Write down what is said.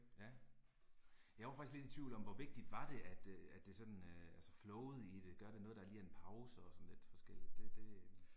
Ja. Jeg var faktisk lidt i tvivl om hvor vigtigt var det at øh at det sådan altså flowet i det, gør det noget der lige er en pause og sådan lidt forskelligt det det øh